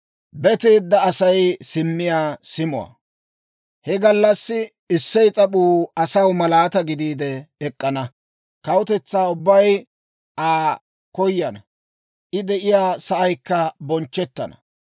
He gallassi Issey s'ap'uu asaw malaataa gidiide ek'k'ana; kawutetsaa ubbay Aa koyana; I de'iyaa sa'aykka bonchchettana.